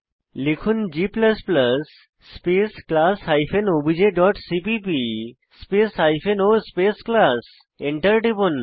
লিখুন g space class hyphen OBJ dot CPP space o space class Enter টিপুন